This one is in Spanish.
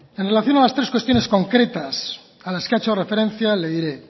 en relación a las tres cuestiones concretas a las que ha hecho referencia le diré